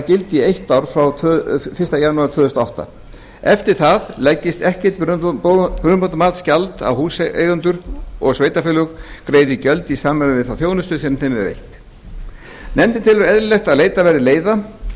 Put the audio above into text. gildi í eitt ár frá fyrsta janúar tvö þúsund og átta eftir það leggist ekkert brunabótamatsgjald á húseigendur og sveitarfélög greiði gjöld í samræmi við þá þjónustu sem þeim er veitt nefndin telur eðlilegt að leitað verði leiða